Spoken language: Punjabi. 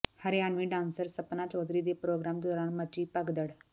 ਹਰਿਆਣਵੀ ਡਾਂਸਰ ਸਪਨਾ ਚੌਧਰੀ ਦੇ ਪ੍ਰੋਗਰਾਮ ਦੌਰਾਨ ਮਚੀ ਭਗਦੜ